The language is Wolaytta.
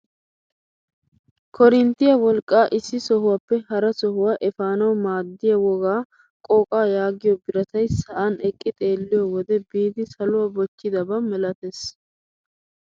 Korinttiyaa wolqqaa issi sohuwaappe hara shuwaa epanawu maaddiyaa wogga qooqaa yaagiyoo biratay sa'an eqqi xeelliyoo wode biidi saluwaa bochchidaba malattees!